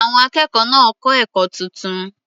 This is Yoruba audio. Àwọn akẹ́kọ̀ọ́ náà kọ́ ẹ̀kọ́ tuntun.